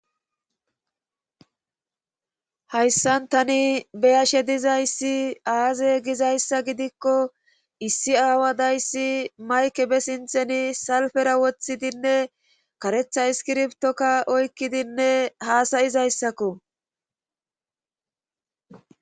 Hayssan tani beyashe dizayssi aaze gizayssa gidikko issi aawa dayssi mayke be sintheni salfera wothidinne karetha iskirbtokka oykkidinne haasayizayssakko.